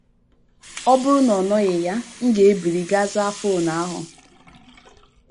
Ọ bụrụ na ọ nọghị ya, m na - ebili gaa zaa fon ahụ. ”